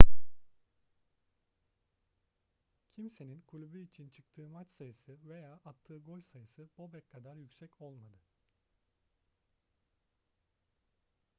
kimsenin kulübü için çıktığı maç sayısı veya attığı gol sayısı bobek kadar yüksek olmadı